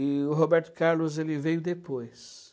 E o Roberto Carlos ele veio depois.